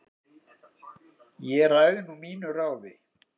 Ég ræð nú mínu ráði